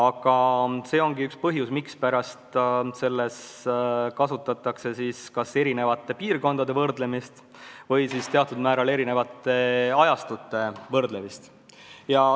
See ongi üks põhjus, mispärast selles töös kasutatakse kas eri piirkondade võrdlemist või teatud määral eri ajastute võrdlemist.